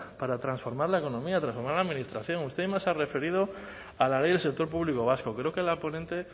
para transformar la economía transformar la administración usted se ha referido a la ley del sector público vasco creo que la ponente